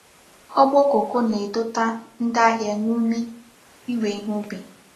Ogbo koko na-edota ndi ahia n'umi iwe ihe ubi.